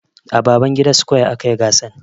A Babangida square a kayi gasan.